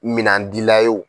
Minan dila ye o.